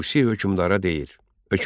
Tusi hökmdara deyir: